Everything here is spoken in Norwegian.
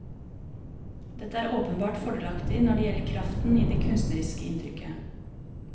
Dette er åpenbart fordelaktig når det gjelder kraften i det kunstneriske inntrykket.